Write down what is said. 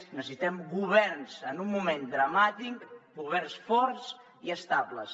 necessitem en un moment dramàtic governs forts i estables